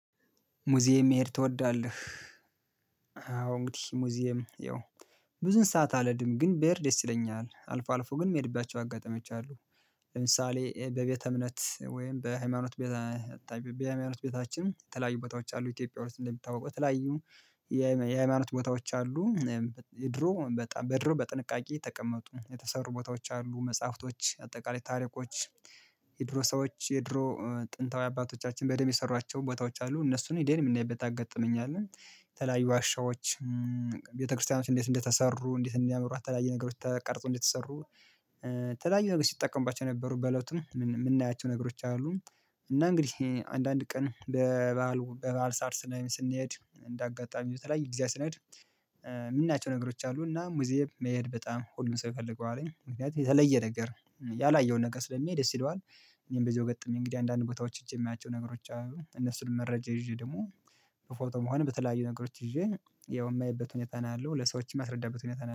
ሙዚየም መሄድ ትወዳለህ? አዎ እንግዲህ ሙዚየም ያው ብዙን ሰዓት አለድም ግን በሄር ደስ ይለኛል አልፎ አልፎ ግን መሄድባቸው አጋጣሚዎች አሉ። ለምሳሌ በቤተ እምነት ወይም በሃይማኖት ቤታችን በሃይማኖት ቤታችን የተለያዩ ቦታዎች አሉ ኢትዮጵያ ውስጥ እንደምታውቁ ተለያዩ የሃይማኖት ቦታዎች አሉ። ድሮ በጣም በድሮ በጥንቃቄ ተቀመጡ የተሰሩ ቦታዎች አሉ መጽሐፍቶች አጠቃላይ ታሪኮች። የድሮ ሰዎች የድሮ ጥንታዊ አባቶቻችን በደንብ የሰሯቸው ቦታዎች አሉ። እነሱን እኔን የምናይበት ያጋጠመኝ አለ የተለያዩ ዋሻዎች። ቤተክርስቲያኖች እንዴት እንደተሰሩ እንዴት እንዲያመሩ አተላየ ነገሮች ተቀርጾ እንደተሰሩ ተለያየ ነገር ሲጠቀምባቸው ነበሩ በለቱ የምናያቸው ነገሮች አሉ። እና እንግዲህ አንዳንድ ቀን በበዓል በበዓል ሳር ስንሄድ እንደ አጋጣሚ በተለይ ጊዚያት ስንሄድ የምናቸው ነገሮች አሉ እና ሙዚየም መሄድ በጣም ሁሉም ሰው ይፈለገዋለኝ ምክንያቱም የተለየ ነገር ያላየው ነገር ስለሚሄድ ደስ ይለዋል። እኔም በዚህ ገጥሜ እንግዲህ አንዳንድ ቦታዎች እጅ የማያቸው ነገሮች እነሱን መረጃ ይዤ ደግሞ በፎቶ መሆን በተለያዩ ነገሮች ይዤ ያው የማየበት ሁኔታ ነው ያለው ለሰዎችም ማስረዳበት ሁኔታ ነው